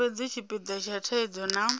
fhedzi tshipida tsha thaidzo na